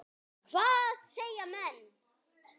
Hvað segja menn?